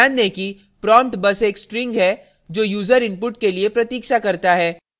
ध्यान दें कि prompt बस एक string है जो यूज़र input के लिए प्रतीक्षा करता है